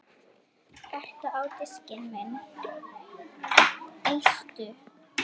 Eistu á diskinn minn